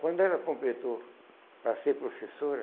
Quando ela completou para ser professora,